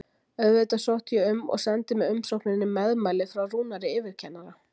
Auðvitað sótti ég um og sendi með umsókninni meðmæli frá Rúnari yfirkennara.